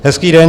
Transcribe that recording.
Hezký den.